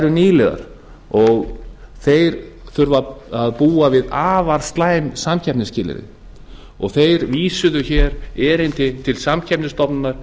eru nýliðar og þeir þurfa að búa við afar slæm samkeppnisskilyrði þeir vísuðu hér erindi til samkeppnisstofnunar